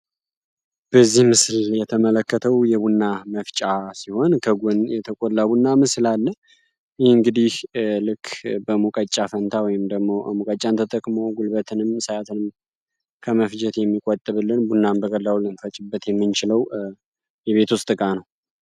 በዚህ ምስል የተመለከተው የቡና መፍጫ ሲሆን ከጎን የተቆላ ቡና ምስል አለ ።ይህ እንግዲህ በሙቀጫ ፈንታ ወይንም ደግሞ ሙቀጫን ተጠቅሞ ጉልበትንም ከሰዓትን ከመፍጀት የሚቆጥብልን ቡናን በቀላሉ ለንፈጭ የምንችለው የቤት ውስጥ እቃ ነው።